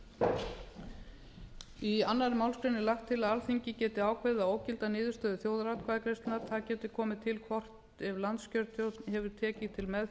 skattamála í annarri málsgrein er lagt til að alþingi geti ákveðið að ógilda niðurstöður þjóðaratkvæðagreiðslunnar það geti komið til hvort ef landskjörstjórn hefur tekið til